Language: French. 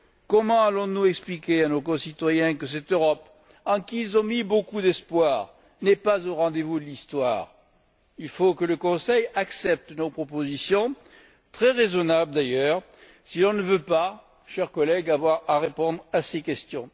Comment allons nous expliquer à nos concitoyens que cette Europe, en qui ils ont mis beaucoup d'espoir, n'est pas au rendez vous de l'Histoire? Il faut que le Conseil accepte nos propositions, très raisonnables d'ailleurs, si on ne veut pas, chers collègues, avoir à répondre à ces questions.